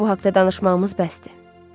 Amma bu haqda danışmağımız bəsdir.